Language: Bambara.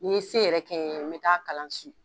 N'i ye se yɛrɛ kɛ n ɲe n bɛ taa kalan su.